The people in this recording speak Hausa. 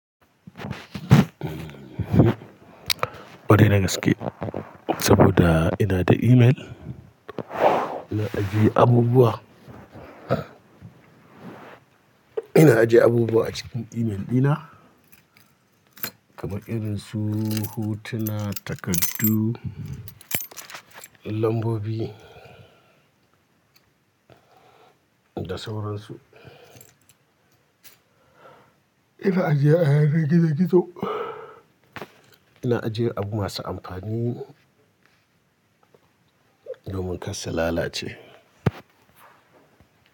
Kwarai da gaske, saboda ina da email ina ajiye abubuwa. Ina ajiye abubuwa a cikin email ɗina kamar irinsu, hotuna, takardu, lambobi da sauransu. Ina ajiye a yanar gizo-gizo, ina ajiye abu masu amfani domin kar su lalace.